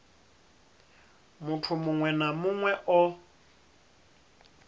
muthu muṅwe na muṅwe o